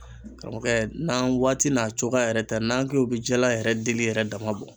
Karamɔgɔkɛ n'an waati n'a cogoya yɛrɛ tɛ n'an k'o bi jala yɛrɛ dili yɛrɛ dama bɔ